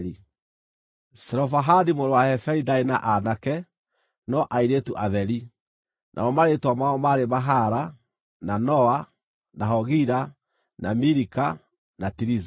(Zelofehadi mũrũ wa Heferi ndaarĩ na aanake, no airĩtu atheri, namo marĩĩtwa mao maarĩ Mahala, na Noa, na Hogila, na Milika, na Tiriza.)